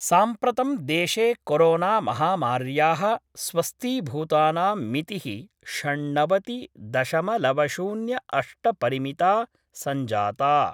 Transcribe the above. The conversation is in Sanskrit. साम्प्रतं देशे कोरोनामहामार्याः स्वस्थीभूतानां मिति: षण्णवति दशमलव शून्य अष्ट परिमिता सञ्जाता।